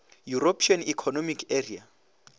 european economic area